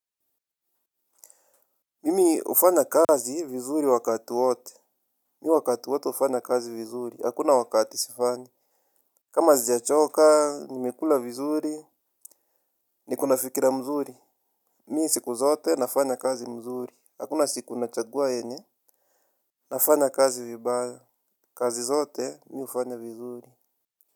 Mimi hufanya kazi vizuri wakati wote. Mimi wakati wote hufanya kazi vizuri, hakuna wakati sifanyi. Kama sijachoka, nimekula vizuri, niko na fikira mzuri. Mi siku zote nafanya kazi mzuri, hakuna siku nachagua yenye nafanya kazi vibaya, kazi zote mimi hufanya vizuri.